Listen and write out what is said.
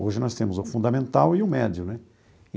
Hoje nós temos o fundamental e o médio, né?